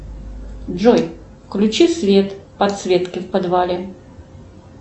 джой включи свет подсветки в подвале